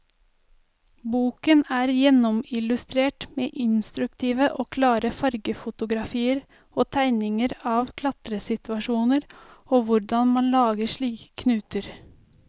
Boken er gjennomillustrert med instruktive og klare fargefotografier og tegninger av klatresituasjoner og hvordan man lager sikre knuter.